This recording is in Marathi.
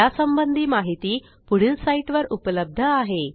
यासंबंधी माहिती पुढील साईटवर उपलब्ध आहे